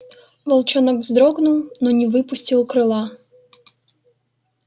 волчонок вздрогнул но не выпустил крыла